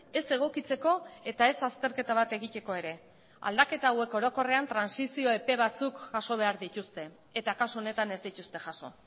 ez egokitzeko eta ez azterketa bat egiteko ere aldaketa hauek orokorrean trantsizio epe batzuk jaso behar dituzte eta kasu honetan ez dituzte jaso